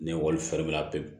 Ni ekɔli fɛnɛ la pewu